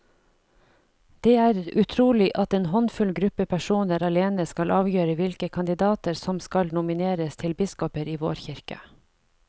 Det er utrolig at en håndfull gruppe personer alene skal avgjøre hvilke kandidater som skal nomineres til biskoper i vår kirke.